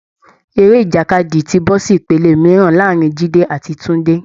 Eré ìjàkadì ti bọ́ sí ìpele mìíràn láàárín jide àti Tunde